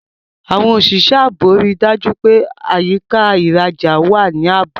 Àwọn òṣìṣẹ́ ààbò rí i dájú pé àyíká ìrajà wà ní ààbò.